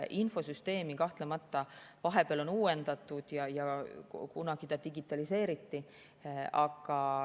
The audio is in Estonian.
Infosüsteemi on kahtlemata vahepeal uuendatud, kunagi ta digitaliseeriti.